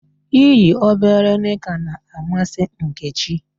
I yi obere nịka na-amasị Nkechi.